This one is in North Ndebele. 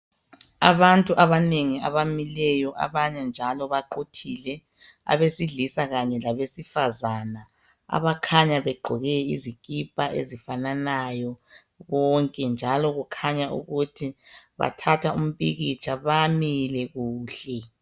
Abantu abanengi abamileyo abanye njalo baquthile , abesilisa kanye labesifazana abakhanya begqoke izikipa ezifananayo bonke njalo kukhanya ukuthi bathatha umpikitsha , bamile kuhle